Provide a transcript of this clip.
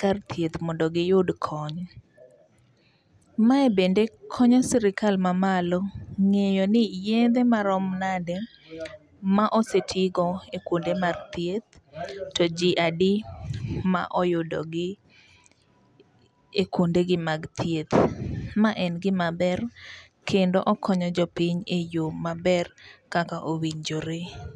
kar thieth mondo giyud kony. Mae bende konyo sirkal mamalo ng'eyo ni yedhe marom nade ma osetigo e kuonde mag thieth to ji adi ma oyudo gi e kuonde gi mag thieth. Ma en gima ber kendo okonyo jo piny e yo maber kaka owinjore.